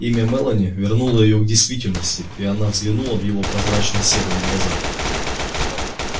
имя мелани вернуло её к действительности и она взглянула в его прозрачно-серые глаза